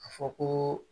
A fɔ ko